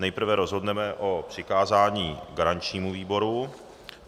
Nejprve rozhodneme o přikázání garančnímu výboru.